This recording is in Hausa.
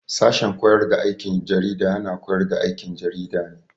Sashen koyar da aikin jarida na koyar da aikin jarida ne.